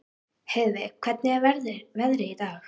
Heiðveig, hvernig er veðrið í dag?